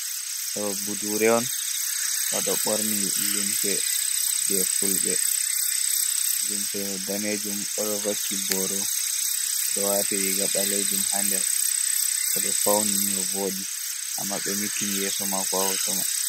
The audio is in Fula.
Ɗo budure’on oɗo ɓorni limse je fulbe, limse danejum oɗo vaki boro oɗo wati riga ɓalejum ha nder oɗo fauni ni ovodi amma ɓe nyukkini yeso mako ha hoto man.